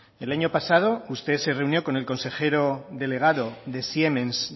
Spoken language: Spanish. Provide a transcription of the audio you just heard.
el año pasado usted se reunió con el consejero delegado de siemens